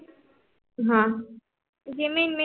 हा